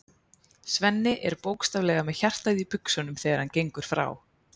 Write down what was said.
Svenni er bókstaflega með hjartað í buxunum þegar hann gengur frá